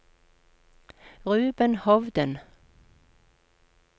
Ruben Hovden